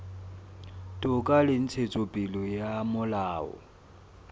toka le ntshetsopele ya molao